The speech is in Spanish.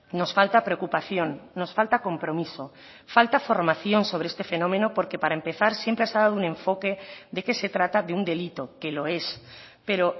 nos falta preocupación nos falta compromiso falta formación sobre este fenómeno porque para empezar siempre se ha dado un enfoque de que se trata de un delito que lo es pero